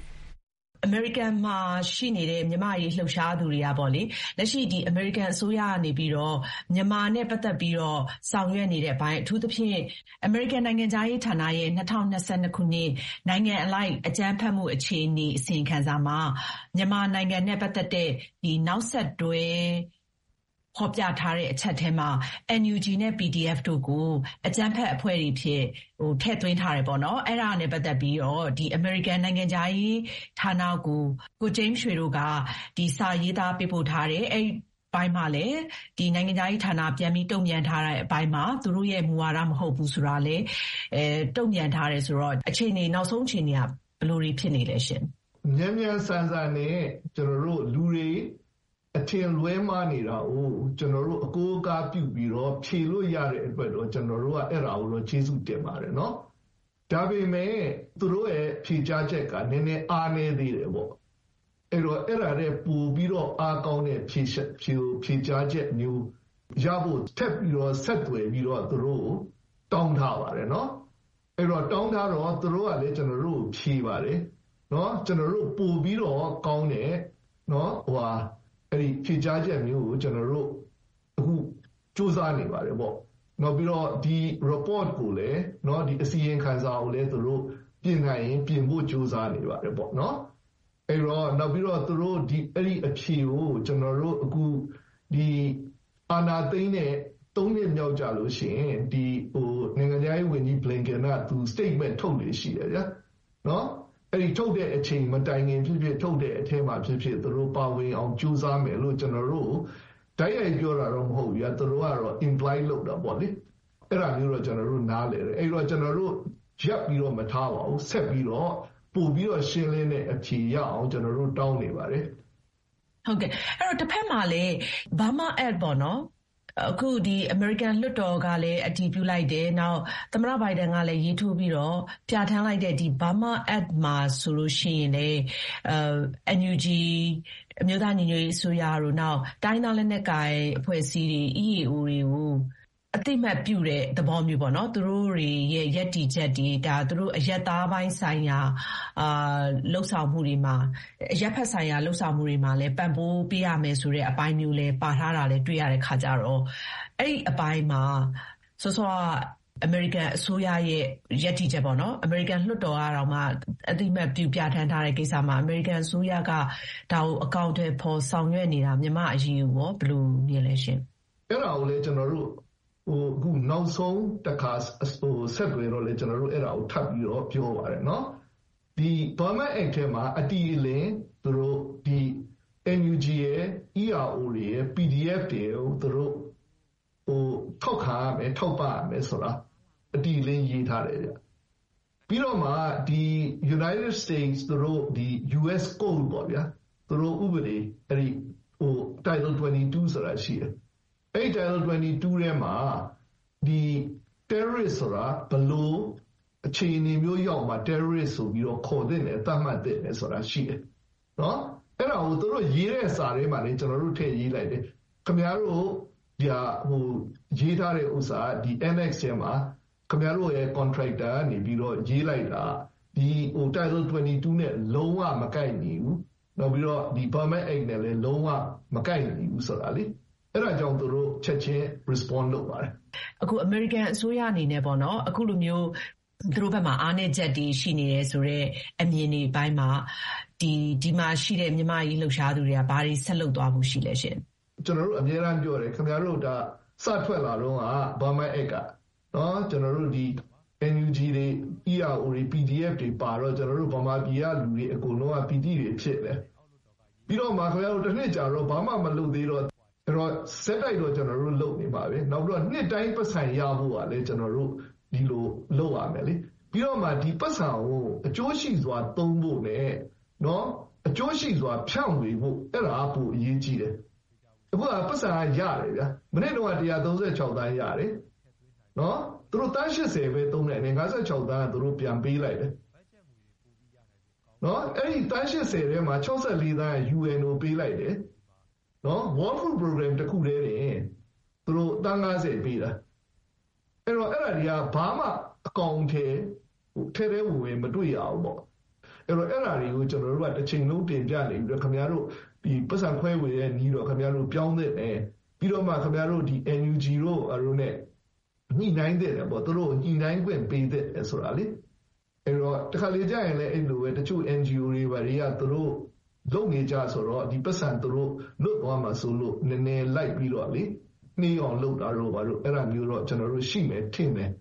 ။ အမေရိကန်မှာရှိိနေတဲ့ မြန်မာ့အရေးလှုပ်ရှားသူတွေကနေပြီးတော့ပေါ့လေ- လက်ရှိ အမေရိကန်အစိုးရကနေပြီးတော့ မြန်မာနဲ့ပတ်သက်ပြီးတော့ ဆောင်ရွက်နေတဲ့အပိုင်း အထူးသဖြင့် အမေရိကန် နိုင်ငံခြားရေးဌာနရဲ့ ၂၀၂၂ နိုင်ငံအလိုက် အကြမ်းဖက်မှုအခြေအနေ အစီရင်ခံစာမှာ မြန်မာနိုင်ငံနဲ့ပတ်သက်တဲ့ နောက်ဆက်တွဲ ဖော်ပြထားတဲ့ အချက်ထဲမှာ NUG နဲ့ PDF တို့ကို အကြမ်းဖက်အဖွဲ့တွေအဖြစ် ထည့်သွင်းထားတယ်ပေါ့နော်။ အဲဒါနဲ့ပတ်သက်ပြီးတော့ အမေရိကန်နိုင်ငံခြားရေးဌာနကို ကိုဂျိမ်းရွှေတို့က စာရေးသား ပေးပို့ထားတယ်၊ အဲဒီ အပိုင်းမှာလည်း နိုင်ငံခြားရေးဌာနက ပြန်ပြီး တုံ့ပြန်ထားတဲ့အပိုင်းမှာ သူတို့ရဲ့ မူဝါဒမဟုတ်ဘူး ဆိုတာလည်း တုံ့ပြန်ထားတယ်ဆိုတော့ နောက်ဆုံးအခြေအနေတွေက ဘယ်လိုတွေ ဖြစ်နေလဲရှင့်။ ဂျိမ်းစ်ရွှေ။ ။ မြန်မြန်ဆန်ဆန်နဲ့ လူတွေ အထင်လွဲမှားနေတာကို ကျနော်တို့ အကိုးအကားပြုပြီးတော့ ဖြေလို့ရတဲ့အတွက်တော့ အဲဒါကိုတော့ ကျနော်တို့က ကျေးဇူးတင်ပါတယ်။ ဒါပေမဲ့ သူတို့ရဲ့ဖြေကြားချက်က နည်းနည်းအားနည်းနေတယ်ပေါ့။ အဲဒီတော့ အဲဒါထက်ပိုပြီးတော့ နည်းနည်းအားကောင်းတဲ့ဖြေကြားချက်မျိုးရဖို့ ထပ်ပြီး ဆက်သွယ်ပြီးတော့ သူတို့ကို တောင်းထားပါတယ်။ တောင်းထားတော့ သူတို့ကလည်း ကျနော်တို့ကို ဖြေပါတယ်။ ပိုပြီးတော့ ကောင်းတဲ့ ဖြေကြားချက်မျိုးကို ကျနော်တို့ အခု ကြိုးစားနေပါတယ်ပေါ့။ နောက်ပြီးတော့ ဒီ report ကိုလည်း - ဒီအစီရင်ခံစာကိုလည်း သူတို့ ပြင်နိုင်ရင်ပြင်ဖို့ ကြိုးစားနေပါတယ်-ပေါ့၊ နော်။ နောက်ပြီးတော့ အဲဒီအဖြေကို ကျနော်တို့ အခု အာဏာသိမ်းတဲ့ ၃ နှစ်မြောက်ကျလို့ရှိရင် နိုင်ငံခြားရေးဝန်ကြီး ဘလင်ကန်က သူ စတိတ်မဲန့် ထုတ်လေ့ရှိတယ်ဗျာ။ အဲဒီ ထုတ်တဲ့အချိန်မတိုင်ခင် ဖြစ်ဖြစ်၊ ထုတ်တဲ့အထဲမှာဖြစ်ဖြစ် ပါဝင်အောင်ကြိုးစားမယ်လို့ ကျနော်တို့ကို တိုက်ရိုက်ပြောတာတော့မဟုတ်ဘူးဗျာ၊ သူတို့ကတော့ imply လုပ်တာပေါ့လေ။ အဲဒါမျိုးတော့ ကျနော်တို့ နားလည်တယ်။ ကျနော်တို့ ရပ်ပြီးတော့ မထားပါဘူး၊ ဆက်ပြီးတော့ ပိုပြီးတော့ ရှင်းလင်းတဲ့အဖြေရရအောင် ကျနော်တို့တောင်းနေပါတယ်။ အင်ကြင်းနိုင်။ ။ ဟုတ်ကဲ့၊ အဲဒီတော့ တဘက်မှာလည်း Burma Act ပေါ့နော်၊ အခု အမေရိိကန်လွှတ်တော်ကလည်း အတည်ပြုလိုက်တယ်။ သမ္မတဘိုင်ဒန်ကလည်း လက်မှတ်ရေးထိုးပြီးတော့ ပြဌာန််းလိုက်တဲ့ Burma Act မှာ ဆိုလို့ရှိရင်လည်း NUG - အမျိိုးသားညီညွတ်ရေးအစိုးရတို့၊ နောက် တိုင်းရင်းသားလက်နက်ကိုင်တဲ့အဖွဲ့အစည်းတွေ၊ EAO တွေကို အသိအမှတ်ပြုတဲ့သဘောမျိုးပေါ့နော်၊ သူတို့တွေရဲ့ရပ်တည်ချက်၊ အရပ်ဘက်ဆိုင်ရာ လုပ်ဆောင်မှုတွေမှာလည်း ပံ့ပိုးပေးရမယ်ဆိုတဲ့ အပိုင်းမျိုးလည်း ပါထားတာလည်း တွေ့ရတဲ့အခါကျတော့ အဲဒီအပိုင်းမှာ စောစောက အမေရိကန်အစိုးရရဲ့ ရပ်တည်ချက်ပေါ့နော်၊ အမေရိကန်လွှတ်တော်ကတောင်မှ အသိအမှတ်ပြု ပြဌာန်းထားတဲ့ကိစ္စမှာ အမေရိကန်အစိုးရက ဒါကို အကောင်အထည်ဖော်ဆောင်ရွက်နေတာ- မြန်မာ့အရေးကိုရော ဘယ်လိုမြင်လဲရှင့်။ ဂျိမ်းစ်ရွှေ။ ။ အဲဒါကိုလည်း ကျနော်တို့ နောက်ဆုံးတခါဆက်သွယ်တော့လည်း အဲဒါကို ထပ်ပြီးပြောတယ်။ ဒီ Burma Act ထဲမှာ အတိအလင်း NUG ရယ်၊ ERO တွေရယ်၊ PDF တွေရယ်ကို သူတို့ ထောက်ခံရမယ်၊ ထောက်ပံ့ရမယ်ဆိုတာ အတိအလင်း ရေးထားတယ်။ ပြီးတော့ကာ United States - သူတို့ U.S Oat ပေါ့ဗျာ၊ ဥပဒေ…. 2 ဆိုတာ ရှိတယ်။ အဲဒီမှာ terrorist ဆိုတာ ဘယ်လိုအခြေအနေမျိုးရောက်မှ terrorist ဆိုပြီးတော့ ခေါ်သင့်တယ်၊ သတ်မှတ်သင့်တယ်-ဆိုတာ ရှိတယ်။ အဲဒါကို သူတို့ရေးတဲ့စာထဲမှာလည်း ကျနော်တို့ ထည့်ရေးလိုက်တယ်။ ‘ခင်ဗျားတို့ ရေးထားတဲ့…ထဲမှာ ခင်ဗျားတို့ရဲ့ ကံထရိုက်တာကနေပြီး ရေးလိုက်တာ…… နဲ့ လုံးဝ မကိုက်ညီဘူး။ နောက်ပြီးတော့ Burma Act နဲ့လည်း လုံးဝ မကိုက်ညီဘူးဆိုတာလေ။ အဲဒါကြောင့် သူတို့ ချက်ခြင်း response လုပ်ပါတယ်။ အင်ကြင်းနိုင်။ ။ အမေရိကန်အစိုးရအနေနနဲ့ပေါ့နော်- အခုလိုမျိုး သူတို့ဘက်မှာ အားနည်းချက်တွေ ရှိနေတယ်ဆိုတဲ့ အမြင်တွေပိုင်းမှာ ဒီမှာရှိတဲ့ မြန်မာ့အရေးလှုပ်ရှားသူတွေက ဘာတွေ ဆက်လုပ်သွားဖို့ ရှိလဲရှင့်။ ဂျိမ်းစ်ရွှေ။ ။ ကျနော်တို့အမြဲတမ်းပြောတယ်၊ ခင်ဗျားတို့ ဒါ Burma Act စထွက်လာတုန်းက NUG တွေ၊ ERO တွေ၊ PDF တွေပါတော့ ကျနော်တို့ ဗမာပြည်က လူတွေအကုန်လုံးက ပီတိတွေဖြစ်နေတာ။ ပြီးတော့မှ ခင်ဗျားတို့က တနှစ်ကြာတော့မှ ဘာမှ မလုပ်သေးတော့။ ဆက်တိုက်တော့ ကျနော်တို့လုပ်နေပါတယ်။ နောက်ပြီးတော့ နှစ်တိုင်း ပိုက်ဆံရဖို့ကလည်း ကျနော်တို့ ဒီလို လုပ်ရတယ်လေ။ ပြီးတော့မှ ဒီပိုက်ဆံကို အကျိုးရှိစွာသုံးဖို့ပဲ၊ အကျိုးရှိစွာ ဖြန့်ဝေဖို့ ဒါက ပိုအရေးကြီးတယ်။ မနှစ်တုန်းက ၁၃၆ သန်းရတယ်။ သူတို့ သန်း ၈၀ ပဲသုံးတယ်လေ။ ၅၆ သန်းက သူတို့ ပြန်ပေးလိုက်တယ်။ အဲဒီ သန်း ၈၀ ထဲမှာ ၆၄ သန်းက UN ကိုပေးလိုက်တယ်။ World Food Program တခုတည်းနဲ့ သူတို့ သန်း ၅၀ ပေးတာ။ အဲဒီတော့ အဲဒါတွေက ဘာမှ အကောင်အထည် ထဲထဲဝင်ဝင် မတွေ့ရဘူးပေါ့။ အဲဒီတော့ အဲဒါတွေကို ကျနော်တို့က တချိန်လုံးတင်ပြနေပြီးတော့ ‘ခင်ဗျားတို့ ပိုက်ဆံခွဲဝေတဲ့နည်းတော့ ပြောင်းသင့်တယ်။ ပြီးတော့မှ ခင်ဗျားတို့ NUG တို့ ဘာတို့နဲ့ ညှိနှိုင်းသင့်တယ်ပေါ့။ သူတို့ ညှိနှိုင်းခွင့်ပေးသင့်တယ်ဆိုတာလေ။ တခါတလေကျရင်လည်း အဲလိုပဲ တချို့ NGO တွေ ဘာတွေက သူတို့လုပ်နေကျဆိုတော့ ဒီပိုက်ဆံ သူတို့လွတ်သွားမှာစိုးလို့ နည်းနည်း လိုက်ပြီးတော့ နှေးအောင်လုပ်တာတို့ ဘာတို့ - အဲဒါမျိုးတော့ ရှိမယ်ထင်တယ်